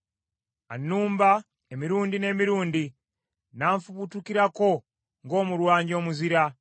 Annumba, emirundi n’emirundi, n’anfubutukirako ng’omulwanyi omuzira.